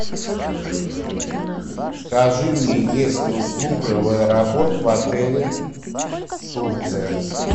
скажи мне есть ли услуга в аэропорт в отеле турция